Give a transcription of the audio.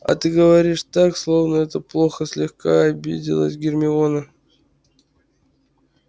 ты говоришь так словно это плохо слегка обиделась гермиона